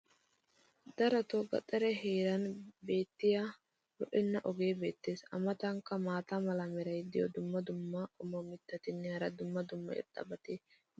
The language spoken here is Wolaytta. darotoo gaxariya heeran beetiya lo'enna ogee beetees. a matankka maata mala meray diyo dumma dumma qommo mitattinne hara dumma dumma irxxabati de'oosona.